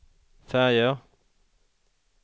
färger